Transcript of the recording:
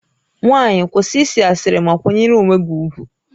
Nwaanyị, kwụsị ịsị asịrị ma kwanyere onwe gị ugwu!